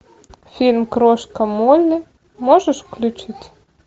фильм крошка молли можешь включить